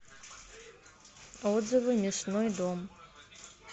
отзывы мясной дом